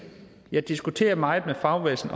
jeg diskuterer det meget med fagbevægelsen